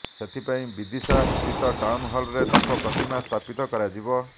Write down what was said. ସେଥିପାଇଁ ବିଦିଶା ସ୍ଥିତ ଟାଉନହଲରେ ତାଙ୍କ ପ୍ରତିମା ସ୍ଥାପିତ କରାଯିବ